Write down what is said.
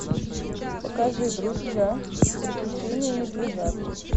покажи друзья приключения медвежат